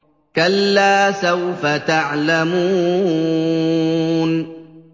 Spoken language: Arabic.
كَلَّا سَوْفَ تَعْلَمُونَ